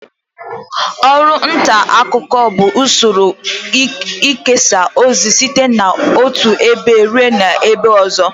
Ọru nta akuko bu usoro ikesa ozi site n'otu ebe rue ebe ozo